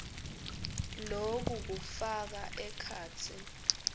loku kufaka ekhatsi